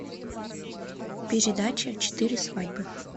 передача четыре свадьбы